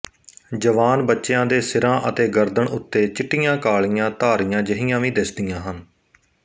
ਜਵਾਨ ਬੱਚਿਆਂ ਦੇ ਸਿਰਾਂ ਅਤੇ ਗਰਦਨ ਉੱਤੇ ਚਿੱਟੀਆਂਕਾਲੀਆਂ ਧਾਰੀਆਂ ਜਿਹੀਆਂ ਵੀ ਦਿਸਦੀਆਂ ਹਨ